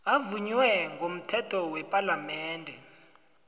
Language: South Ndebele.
avunywe ngomthetho wepalamende